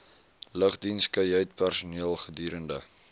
lugdiens kajuitpersoneel gedurende